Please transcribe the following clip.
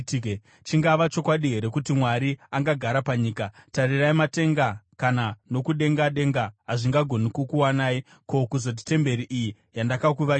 “Chingava chokwadi here kuti Mwari angagara panyika? Tarirai, matenga kana nokudengadenga hazvingagoni kukukwanai. Ko, kuzoti temberi iyi yandakuvakirai!